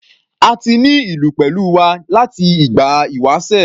A ti ní ìlú pẹ̀lú wa láti ìgbà ìwásẹ̀.